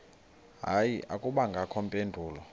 hayi akubangakho mpendulo